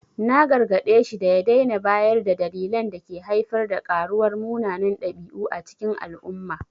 Na gargade shi da ya daina bayar da dalilan da ke haifar da karuwar munanan dabi’u a cikin al’umma.